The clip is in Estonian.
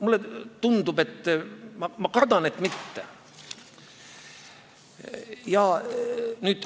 Mulle tundub või ma kardan, et mitte.